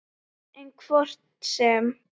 En hvort sem